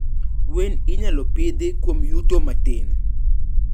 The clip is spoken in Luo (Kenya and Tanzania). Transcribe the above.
Gwen inyalo pidhi kuom yuto matin.